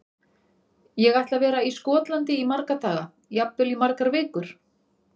Ég ætla að vera í Skotlandi í marga daga, jafnvel í margar vikur.